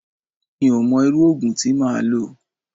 Mi ò mọ irú òògùn tí máa lò.